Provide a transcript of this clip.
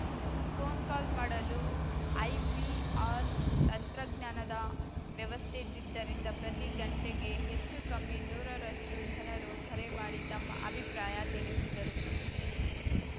phone call ಮಾಡಲು IVR ತಂತ್ರಜ್ಞಾನದ ವ್ಯವಸ್ಥೆ ಇದ್ದಿದ್ದರಿಂದ ಪ್ರತಿ ಗಂಟೆಗೆ ಹೆಚ್ಚು ಕಮ್ಮಿ ನೂರರಷ್ಟುಜನರು ಕರೆ ಮಾಡಿ ತಮ್ಮ ಅಭಿಪ್ರಾಯ ತಿಳಿಸಿದರು